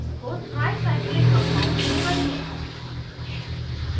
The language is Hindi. इसको ट्राईसाइक्लिक compound में बदलें